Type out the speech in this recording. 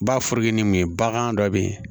Bafoke ni mun ye bagan dɔ be yen